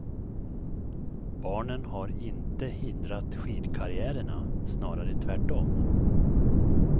Barnen har inte hindrat skidkarriärerna, snarare tvärtom.